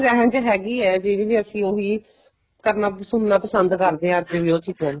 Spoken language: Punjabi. ਜਹਿਣ ਚ ਹੈਗੀ ਵੀ ਆ ਚੀਜ਼ ਅਸੀਂ ਉਹੀ ਸੁਣਨਾ ਪਸੰਦ ਕਰਦੇ ਹਾਂ ਅੱਜ ਵੀ ਉਹ ਚੀਜ਼ਾਂ ਨੂੰ